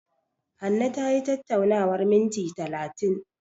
Hanne tayi tattaunawar minti talatin.